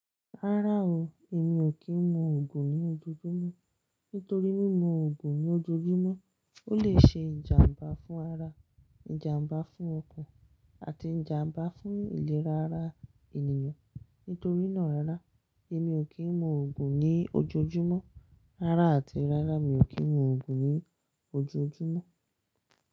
Rárá o, èmi ò kí ń mu Ògùn ní ojoojúmọ́. Nítorí mímu Ògùn ní ojoojúmọ́ ó lè ṣe ìjàmbá fún ara, ìjàmbá fún ọkàn àti ìjàmbá fún ìlera ara ènìyàn. Nítorí náà rárá, èmi ò kí ń mu Ògùn ní ojoojúmọ́. Rárá àti rárá, mi ò kí ń mu Ògùn ní ojoojúmọ́